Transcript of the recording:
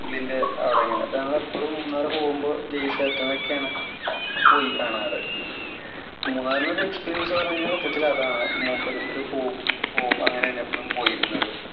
പുള്ളീന്‍റെ അവിടെ അങ്ങനെ. ഞങ്ങള് എപ്പഴും മൂന്നാറ് പോകുമ്പോ ജയിസേട്ടന്‍ ഒക്കെയാണ് പോയി കാണാറ്. മൂന്നാറില്‍ ഒരു എക്സിപീരിയന്‍സ് പറഞ്ഞാൽ സത്യത്തിൽ അതാണ്. മുപ്പരത്ത് പോവും. അങ്ങനെയാണ് എപ്പോഴും പോയിരുന്നത്.